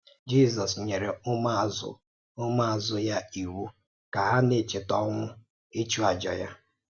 Jízọ́s nyere ụmụ̀àzụ̀ ụmụ̀àzụ̀ ya ìwù ka hà na-èchètà ọnwụ̀ ịchụ̀àjà ya.